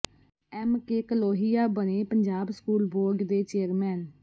M K Kalohia ਬਣੇ Punjab school board ਦੇ chairman